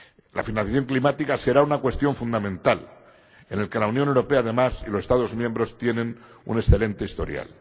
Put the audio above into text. La financiación climática será una cuestión fundamental en la que la Unión Europea, además, y los Estados miembros tienen un excelente historial.